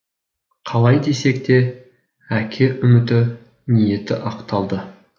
қалай десек те әке үміті ниеті ақталды